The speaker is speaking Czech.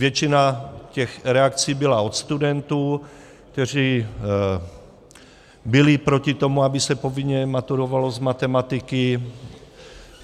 Většina těch reakcí byla od studentů, kteří byli proti tomu, aby se povinně maturovalo z matematiky.